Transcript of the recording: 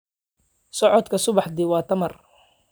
Socodka subaxdii waa tamar.